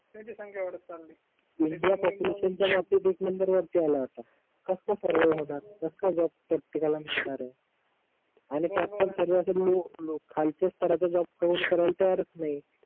India population च्या बाबतीत एक नंबर वरती आला आता कस का सर्व मांधात कस का जॉब प्रतेकला मिळणार आहे आणि प्राप्त स्थारातील लोक खालचा स्थारातील जॉब करून कारला तयारच नाही